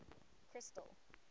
crystal